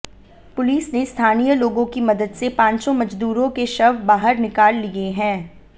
police ने स्थानीय लोगों की मदद से पांचों मजदूरों के शव बाहर निकाल लिए हैं